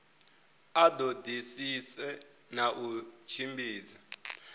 a ṱoḓisise na u tshimbidza